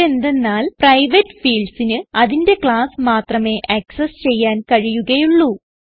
ഇതെന്തന്നാൽ private fieldsന് അതിന്റെ class മാത്രമേ ആക്സസ് ചെയ്യാൻ കഴിയുകയുള്ളൂ